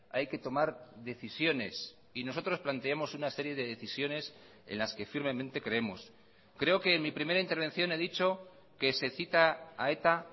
hay que tomar decisiones y nosotros planteamos una serie de decisiones en las que firmemente creemos creo que en mi primera intervención he dicho que se cita a eta